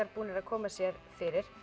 búnir að koma sér fyrir